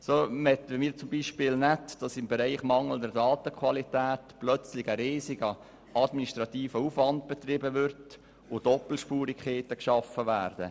Wir möchten beispielsweise nicht, dass aufgrund der mangelnden Datenqualität plötzlich ein riesengrosser administrativer Aufwand betrieben wird und Doppelspurigkeiten geschaffen werden.